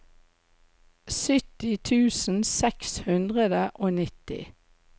sytti tusen seks hundre og nitti